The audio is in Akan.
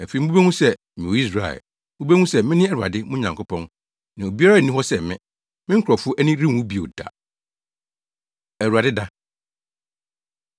Afei, mubehu sɛ, mewɔ Israel, mubehu sɛ mene Awurade, mo Nyankopɔn, na obiara nni hɔ sɛ me; Me nkurɔfo ani renwu bio da.” Awurade Da